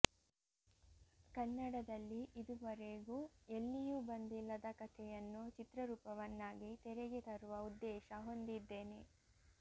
ಕನ್ನಡದಲ್ಲಿ ಇದುವರೆಗೂ ಎಲ್ಲಿಯೂ ಬಂದಿಲ್ಲದ ಕಥೆಯನ್ನು ಚಿತ್ರರೂಪವನ್ನಾಗಿ ತೆರೆಗೆ ತರುವ ಉದ್ದೇಶ ಹೊಂದಿದ್ದೇನೆ